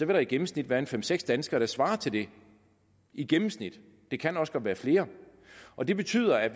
der i gennemsnit være fem seks danskere der svarer til det i gennemsnit det kan også godt være flere og det betyder at